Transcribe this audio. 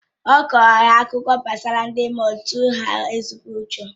Ọ kọrọ ha akụkọ gbasara ndị mmụọ tụrụ ha ezigbo ụjọ